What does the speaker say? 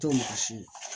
To mɔgɔ si